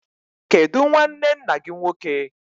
Kedu nnwanne nna gị nwoke?